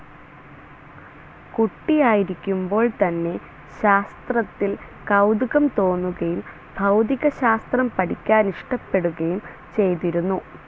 കുട്ടിയായിരിക്കുമ്പോൾ തന്നെ ശാസ്ത്രത്തിൽ കൗതുകം തോന്നുകയും ഭൗതികശാസ്ത്രം പഠിക്കാനിഷ്ടപ്പെടുകയും ചെയ്തിരുന്നു.